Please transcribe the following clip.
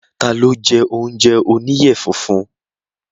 Ta ló jẹ́ oúnjẹ oníyẹ funfun?